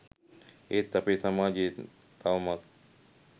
ඒත් අපේ සමාජෙ තවමත්